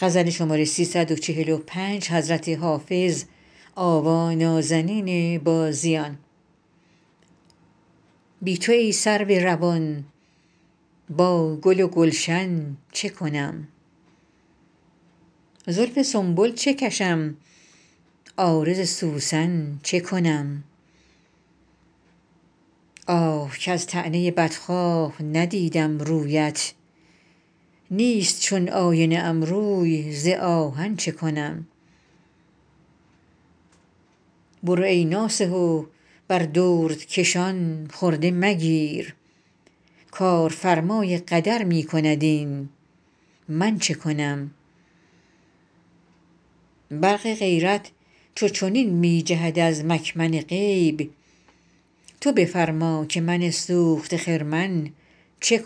بی تو ای سرو روان با گل و گلشن چه کنم زلف سنبل چه کشم عارض سوسن چه کنم آه کز طعنه بدخواه ندیدم رویت نیست چون آینه ام روی ز آهن چه کنم برو ای ناصح و بر دردکشان خرده مگیر کارفرمای قدر می کند این من چه کنم برق غیرت چو چنین می جهد از مکمن غیب تو بفرما که من سوخته خرمن چه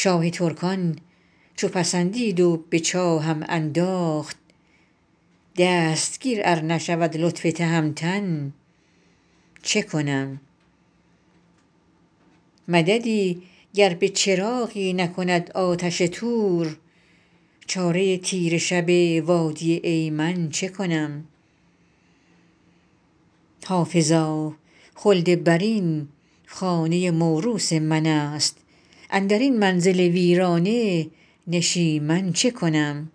کنم شاه ترکان چو پسندید و به چاهم انداخت دستگیر ار نشود لطف تهمتن چه کنم مددی گر به چراغی نکند آتش طور چاره تیره شب وادی ایمن چه کنم حافظا خلدبرین خانه موروث من است اندر این منزل ویرانه نشیمن چه کنم